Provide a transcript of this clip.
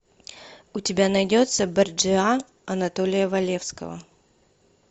у тебя найдется борджиа анатолия валевского